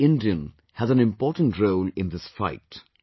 Every Indian has an important role in this fight